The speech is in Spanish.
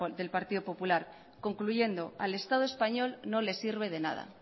del partido popular concluyendo al estado español no le sirve de nada